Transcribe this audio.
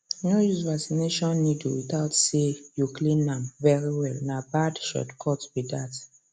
no use vaccination needle without say you clean am very well na bad shortcut be that